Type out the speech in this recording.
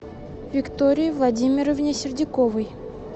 виктории владимировне сердюковой